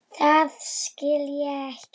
Það skil ég ekki.